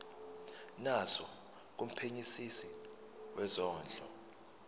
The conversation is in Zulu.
naso kumphenyisisi wezondlo